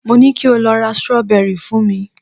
mo ni kio lo ra strawberry fún mi